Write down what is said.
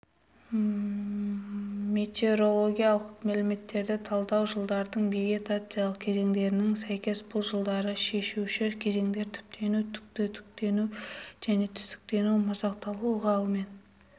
метеорологиялық мәліметтерді талдау жылдардың вегетациялық кезеңдерінің сәйкес бұл жылдары шешуші кезеңдер түптену-түтіктену және түтіктену-масақтану ылғалымен